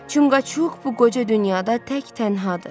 Çunqaçuk bu qoca dünyada tək tənhadır.